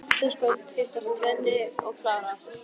Á fimmtudagskvöld hittast Svenni og Klara aftur.